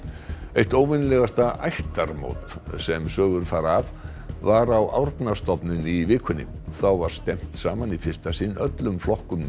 eitt óvenjulegasta ættarmót sem sögur fara af var á Árnastofnun í vikunni þá var stefnt saman í fyrsta sinn öllum flokkum